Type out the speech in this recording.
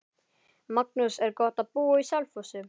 Magnús: Er gott að búa á Selfossi?